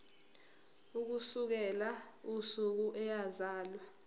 ukusukela usuku eyazalwa